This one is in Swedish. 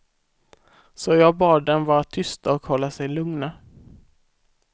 Så jag bad dem vara tysta och hålla sig lugna.